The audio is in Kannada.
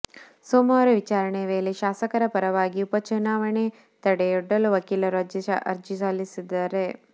ಸೋಮವಾರ ವಿಚಾರಣೆ ವೇಳೆ ಶಾಸಕರ ಪರವಾಗಿ ಉಪ ಚುನಾವೆಗೆ ತಡೆಯೊಡ್ಡಲು ವಕೀಲರು ಅರ್ಜಿ ಸಲ್ಲಿಸಲಿದ್ದಾರೆ